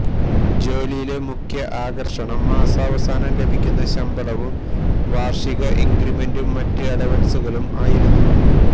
ജോലിയിലെ മുഖ്യ ആകർഷണം മാസാവസാനം ലഭിക്കുന്ന ശമ്പളവും വാർഷിക ഇൻക്രിമെന്റും മറ്റ് അലവൻസുകളും ആയിരുന്നു